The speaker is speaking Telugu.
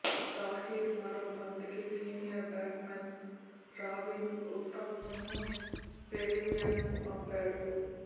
తాహిర్ మరో బంతికి సీనియర్ బ్యాట్స్మెన్ రాబిన్ ఉతప్పను పెవిలియన్కు పంపాడు